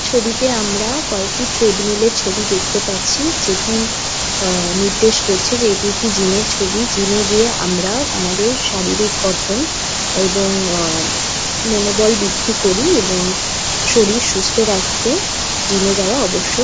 ছবিতে আমরা কয়েকটি ট্রেড মিল এর ছবি দেখতে পাচ্ছি যেটি আ নির্দেশ করছে যে এটি একটি জিম এর ছবি জিম এ গিয়ে আমরা আমাদের শারীরিক গঠন এবং আ মনোবল বৃদ্ধি করি এবং শরীর সুস্থ রাখতে জিম যাওয়া অবশ্য --